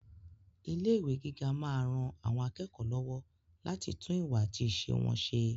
Ilé ìwé gíga máa ran àwọn akẹ́kọ̀ọ́ lọ́wọ́ láti tún ìwà àti ìṣe wọn ṣe.